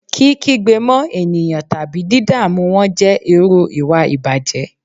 Kí kígbe mọ́ eniyan tabi didamu wọn jẹ iru iwa ìbàjẹ́